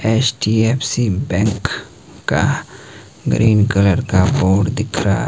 HDFC bank का green colour का board दिख रहा--